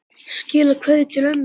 Skilaðu kveðju til ömmu þinnar.